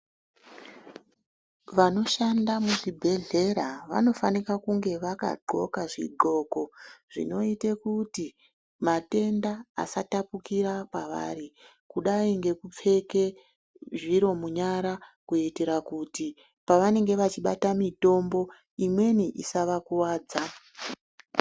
Vano shanda mu zvibhedhlera vano fanike kunge vaka ndxoka zvi ndxoko zvinoite kuti matenda asa tapukira pavari kudai ngeku pfeke zviro munyara kuitira kuti pa vanenge va chibata mitombo imweni isa va kuvadza.